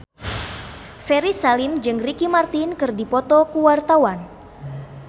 Ferry Salim jeung Ricky Martin keur dipoto ku wartawan